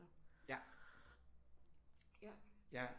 Ja ja